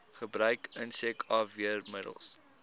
gebruik insek afweermiddels